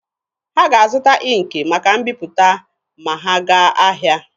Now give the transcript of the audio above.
Ha ga-azụta ịnkị maka mbiputa ma ha gaa ahịa.